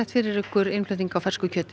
fyrir okkur innflutning á fersku kjöti